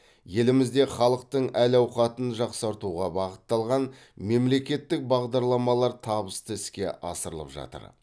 елімізде халықтың әл ауқатын жақсартуға бағытталған мемлекеттік бағдарламалар табысты іске асырылып жатыр